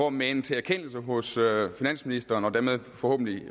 at mane til erkendelse hos finansministeren og forhåbentlig